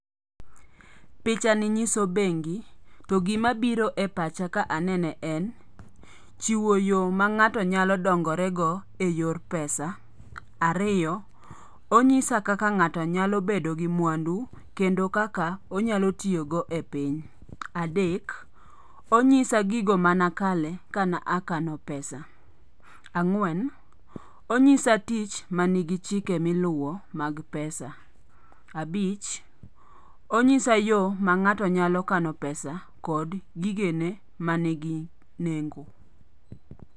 Picha ni nyiso bengi. To gima biro e pacha ka anene en chiwo yo ma ng'ato nyalo dongorego e yor pesa. Ariyo, onyisa kaka ng'ato nyalo bedo gi mwandu kendo kaka onyalo tiyogo e piny. Adek, onyisa gigo mane akale ka ne akano pesa. Ang'wen, onyisa tich manigi chike miluwo mag pesa. Abich, onyisa yo ma ng'ato nyalo kano pesa kod gigene mani gi nengo.